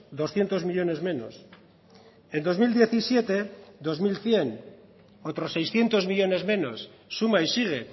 doscientos millónes menos en dos mil diecisiete dos mil cien otros seiscientos millónes menos suma y sigue